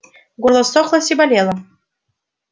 горло ссохлось и болело